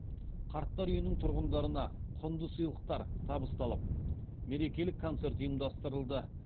қарттар үйінің тұрғындарына құнды сыйлықтар табысталып мерекелік концерт ұйымдастырылды